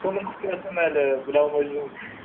соның құпиясын әлі біле алмай жүрмін